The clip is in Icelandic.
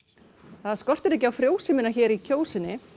þar skortir ekki á frjósemina hér í Kjósinni